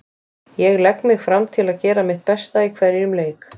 Ég legg mig fram til að gera mitt besta í hverjum leik.